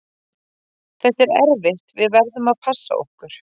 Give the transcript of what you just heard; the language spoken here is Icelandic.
Þetta er erfitt, við verðum að passa okkur.